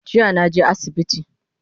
Jiya naje asibiti